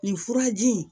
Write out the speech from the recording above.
Nin furaji in